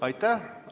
Aitäh!